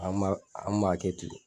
An ma an ma kɛ ten